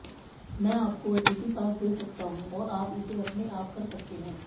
मैं आपको अतिथि पास दे सकता हूं और आप इसे अपने आप कर सकते हैं